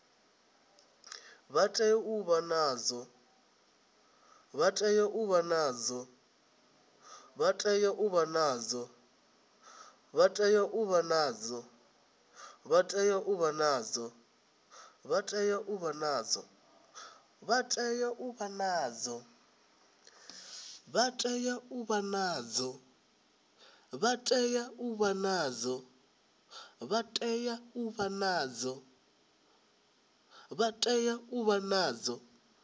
vha tea u vha nazwo